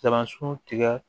tigɛ